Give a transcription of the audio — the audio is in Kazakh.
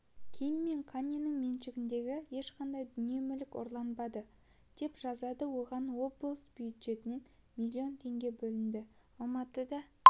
ким мен каньенің меншігіндегі ешқандай дүние-мүлік ұрланбады деп жазады оған облыс бюджетінен миллион теңге бөлінді алматыда